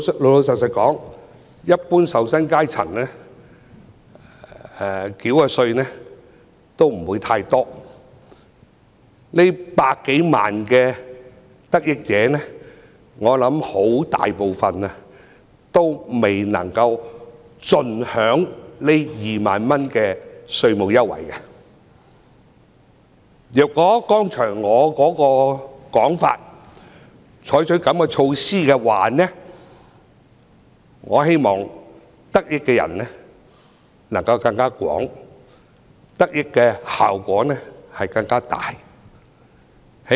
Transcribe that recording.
老實說，一般受薪階層繳交的稅款不會太多，這百多萬的得益者，我相信絕大部分均未能夠盡享這2萬元的稅務優惠，如果局長接納我剛才的說法，採取這樣的措施，得益的人便會更廣，得益的效果亦會更大。